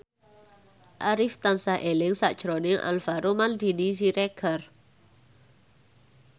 Arif tansah eling sakjroning Alvaro Maldini Siregar